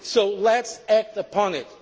this plan. So let us act